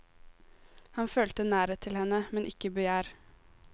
Han følte nærhet til henne, men ikke begjær.